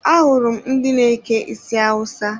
Ahụrụ m ndị na-eke isi Awusa.